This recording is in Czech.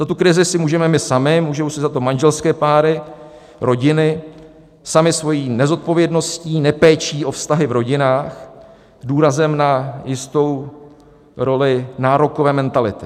Za tu krizi si můžeme my sami, můžou si za to manželské páry, rodiny samy svou nezodpovědností, nepéčí o vztahy v rodinách s důrazem na jistou roli nárokové mentality.